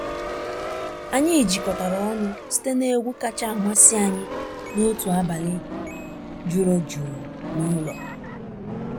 Anyị jikọtara ọnụ site n’egwu kacha amasị anyị n’otu abalị juru jụụ n’ụlọ.